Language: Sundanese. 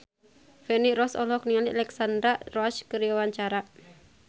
Feni Rose olohok ningali Alexandra Roach keur diwawancara